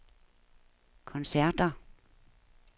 koncerter